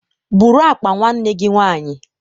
Bụrụ akpa nwanne gi nwaanyị